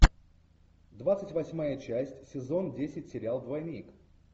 двадцать восьмая часть сезон десять сериал двойник